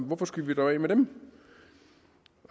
hvorfor skal vi dog af med dem